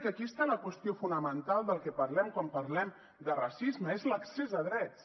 que aquí està la qüestió fonamental del que parlem quan parlem de racisme és l’accés a drets